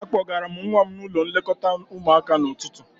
Akpọgara m nwa m n'ụlọ nlekọta ụmụaka n'ụtụtụ